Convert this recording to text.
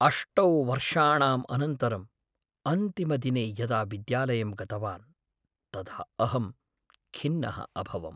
अष्टौ वर्षाणाम् अनन्तरम्, अन्तिमदिने यदा विद्यालयं गतवान् तदा अहं खिन्नः अभवम्।